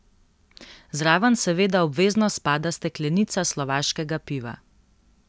Zraven seveda obvezno spada steklenica slovaškega piva.